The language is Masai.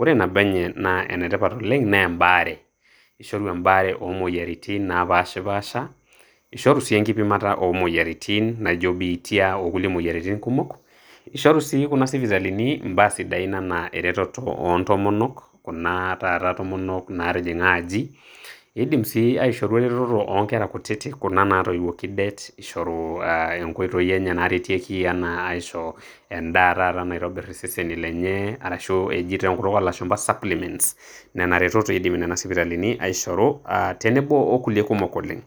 ore nabo enye naa enetipat oleng' naa embaare, ishoru embaare oomoyiaritin naapaashipaasha, ishoru sii enkipimata oomoyiaritin naaijo biitia okulie moyiaritin kumok ishoru sii kuna sipitalini imbaa sidain enaa eretoto oontomonok, kuna taata tomonok naatijing'a aji, iidim sii aishoru eretoto oonkera kutitik kuna naatoiwuoki det ishoru aah inkoitoi enye naaretieki enaa aisho endaa taata naitobirr iseseni lenye arashu eji te enkutuk oolashumbu suplememts ,nena retot eidim nena isipitalini aishoru aah tenebo okulie kumok oleng'.